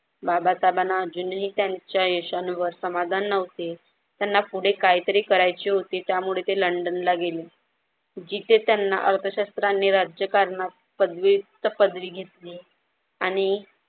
बाबासाहेबांना अजूनही त्यांच्या यशांवर समाधान न्हवते. त्यांना पुढे काहीतरी करायचे होते त्यामुळे ते लंडनला गेले. जिथे त्यांना अर्थशास्त्र आणि राज्यकारणात पद्विक्त पदवी घेतली.